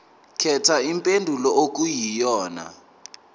khetha impendulo okuyiyona